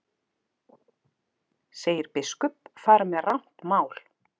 Segir biskup fara með rangt mál